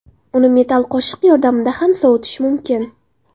Uni metall qoshiq yordamida ham sovitish mumkin.